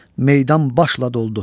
Meydan başla doldu.